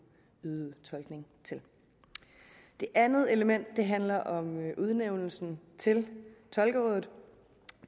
yde tolkning til det andet element handler om udnævnelsen til tolkerådet